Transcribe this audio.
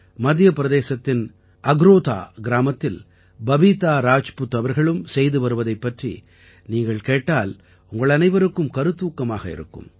மத்தியப்பிரதேசத்தின் அக்ரோதா கிராமத்தில் பபீதா ராஜ்புத் அவர்களும் செய்து வருவதைப் பற்றி நீங்கள் கேட்டால் உங்கள் அனைவருக்கும் கருத்தூக்கமாக இருக்கும்